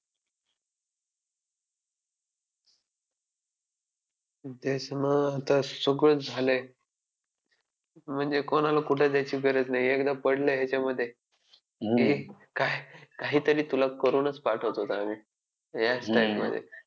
अभ्यास मग आता सगळंच झालंय. म्हणजे कोणाला कुठे जायची गरज नाही एकदा पडलं ह्याच्यामध्ये की काहीतरी तुला करूनच पाठवतो आम्ही या style मध्ये